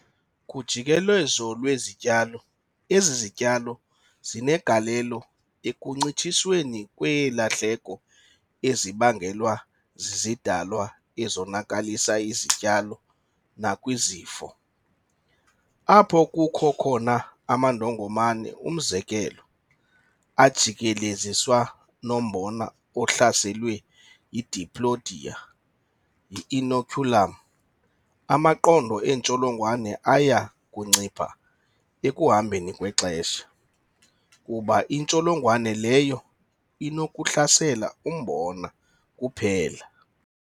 Kujikeleziso lwezityalo, ezi zityalo zinegalelo ekuncitshisweni kweelahleko ezibangelwa zizidalwa ezonakalisa isityalo nakwizifo. Apho kukho khona amandongomane, umzekelo, ajikeleziswa nombona ohlaselwe yiDiplodia, yi-inoculum, amaqondo entsholongwane aya kuncipha ekuhambeni kwexesha, kuba intsholongwane leyo inokuhlasela umbona kuphela.